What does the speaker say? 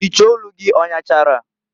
Iche olu gị ọnyachara?